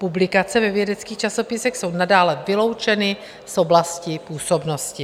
Publikace ve vědeckých časopisech jsou nadále vyloučeny z oblasti působnosti.